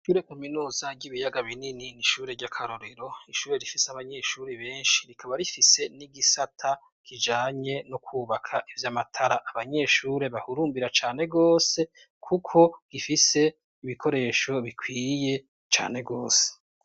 Ishure kuminuza ry'ibiyaga binini n'ishuri ry'akarorero. Ishure rifise abanyeshure benshi rikaba rifise n'igisata kijanye no kwubaka ivyamatara abanyeshuri bahurumbira cane gose kuko gifise ibikoresho bikwiye cane gose.